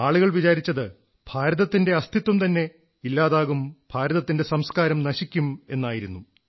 ആളുകൾ വിചാരിച്ചത് ഭാരതത്തിന്റെ അസ്തിത്വം തന്നെ ഇല്ലാതാകും ഭാരതത്തിന്റെ സംസ്കാരം നശിക്കും എന്നായിരുന്നു